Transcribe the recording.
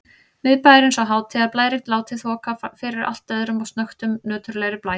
Miðbæjarins og hátíðarblærinn látinn þoka fyrir allt öðrum og snöggtum nöturlegri blæ.